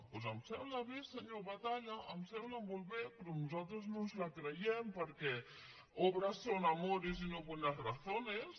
doncs em sembla bé senyor batalla em sembla molt bé però nosaltres no ens la creiem perquè obras son amores y no buenas razones